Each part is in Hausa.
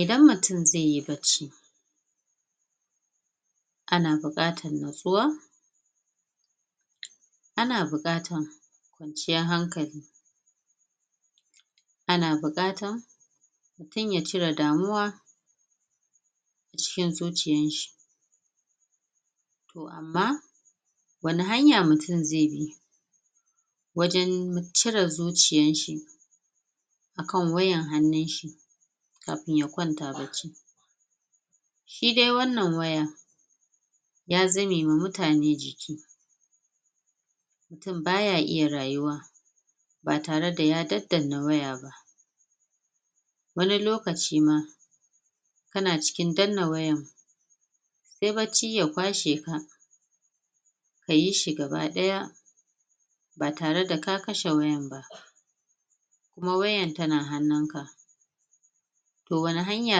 idan mutun zeyi bacci ana buƙatan natsuwa ana buƙatan ciyan hankali ana buƙatan mutun yacire damuwa cikin zuciyan shi to amma wani hanya mutun zebi wajan cire zuciyanshi akan wayan hannunshi kafin yaƙwanta bacci shidai wannan wayan ya zamema mutane jiki mutun baya iya rayuwa batare da ya dan danna wayaba wani lokaci ma kana cikin danna wayan se bacci ya kwasheka kayishi kaba ɗaya batare da ka kashe wayan ba kuma wayan tana hannunka to wani hanya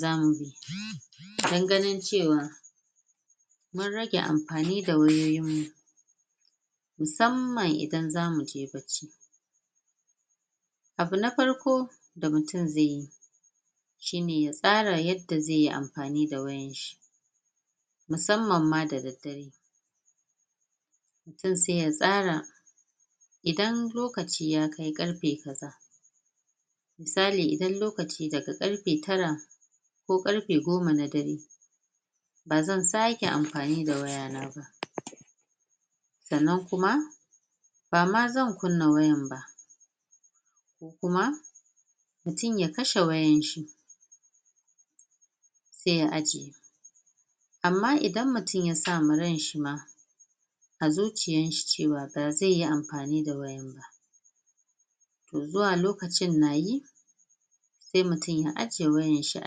zamu bi dan ganin cewa mun rage amfani da wayoyin mu musamman idan zamuje bacci abuna farko da mutun zeyi shine ya tsara yanda zeyi amfani da wayanshi musamma da daddare mutun se ya tsara idan lokaci yakai ƙarfe kaza musali idan lokaci daga karfe tara ko ƙarfe goma na dare bazan sake amfani da wayana ba sannan kuma bama zan kunna wayanba kuma mutun yakashe wayanshi se ya ajiye amma idan mutun yasama ryan shima azuciyanshi cewa bazeyi amfani da waya to zuwlokacin na yi se mutun ya ajjiye wayanshi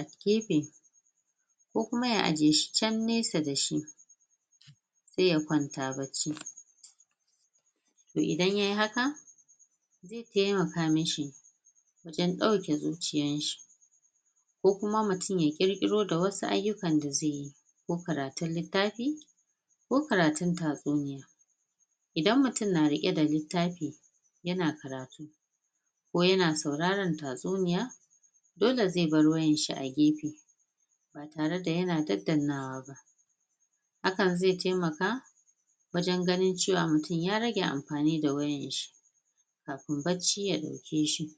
agefe ko kuma ya ajjiyeshi can nesa dashi se ya kwanta bacci to idan yayi haka temaka mishi dan ɗauke zuciyan shi ko kuma mutun ya ƙirƙiro da wasu aiyukan da zeyi ko karatun littafi ko karatun tatsuniya idan mutun na riƙe da littafi yana karatu ko yana sauraran tatsuniya dole ze bar wayanshi agefe ba tare da yana dan dannawa ba hakan ze temaka wajan gani cewa mutun ya rage amfani da wayanshi kafin bacci ya ɗakeshi